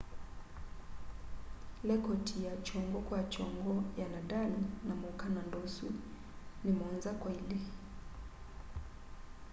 lekoti ya kyongo kwa kyongo ya nadal na muukananda usu ni 7-2